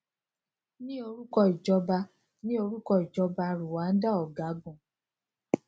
ní orúkọ ìjọba ní orúkọ ìjọba rwanda ọgágun